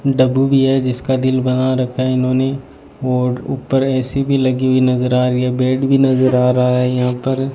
डबु भी है जिसका दिल बना रखा है इन्होंने और ऊपर ए_सी भी लगी हुई नज़र आ रही है बेड भी नज़र आ रहा है यहां पर।